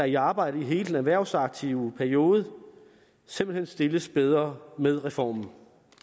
i arbejde i hele den erhvervsaktive periode simpelt hen stilles bedre med reformen